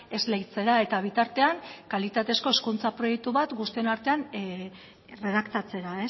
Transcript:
esleitzera eta bitartean kalitatezko hezkuntza proiektu bat guztion artean erredaktatzera